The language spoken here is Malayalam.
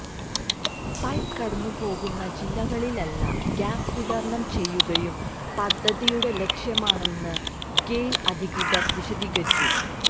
പൈപ്പ് കടന്നു പോകുന്ന ജില്ലകളിലെല്ലാം ഗ്യാസ് വിതരണം ചെയ്യുകയും പദ്ധതിയുടെ ലക്ഷ്യമാണെന്ന് ഗെയില് അധികൃതര് വിശദീകരിച്ചു